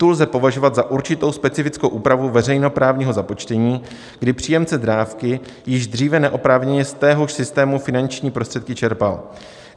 Tu lze považovat za určitou specifickou úpravu veřejnoprávního započtení, kdy příjemce dávky již dříve neoprávněně z téhož systému finanční prostředky čerpal.